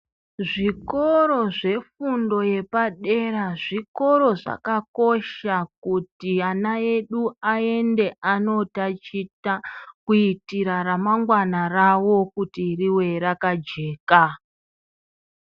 Zvikoro zvefundo yepadera zvikoro zvakakosha kuti ana edu aende anotaticha kuitira ramangwana rawo rive rakajeka.